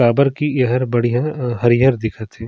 काबर की एहर बढ़िया हरियर दिखत हे।